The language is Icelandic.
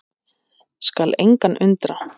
Skal engan undra.